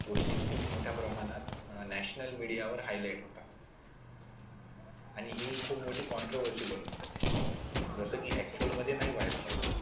गोष्टी खूप मोठ्या प्रमाणात national media वर highlight होतात आणि ही खूप मोठी बनून जाते जस कि actual मध्ये नाही व्हायला पाहिजे.